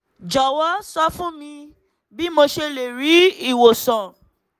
jọ̀wọ́ sọ fún mi bí mo ṣe lè rí ìwòsàn